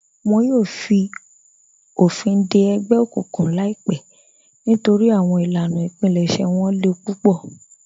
Wọn yòò fi ofin dẹ ẹgbẹ okuǹkuǹ laipẹ nítorí awọn ilànà ìpílẹ̀ṣẹ̀ wọn lè púpọ̀.